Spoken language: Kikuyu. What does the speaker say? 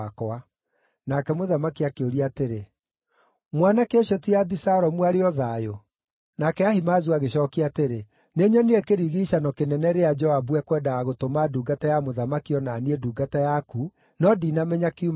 Nake mũthamaki akĩũria atĩrĩ, “Mwanake ũcio ti Abisalomu arĩ o thayũ?” Nake Ahimaazu agĩcookia atĩrĩ, “Nĩnyonire kĩrigiicano kĩnene rĩrĩa Joabu ekwendaga gũtũma ndungata ya mũthamaki o na niĩ, ndungata yaku, no ndinamenya kiuma gĩa kĩĩ.”